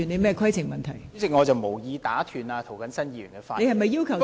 代理主席，我無意打斷涂謹申議員的發言。